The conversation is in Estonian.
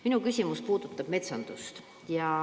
Minu küsimus puudutab metsandust.